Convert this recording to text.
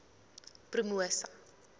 promosa